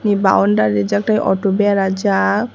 ni boundary rijak tei auto berajak.